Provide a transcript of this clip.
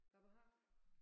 hvabehar?